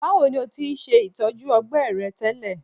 Bawo ni o ti ṣe itọju ọgbẹ rẹ tẹlẹ?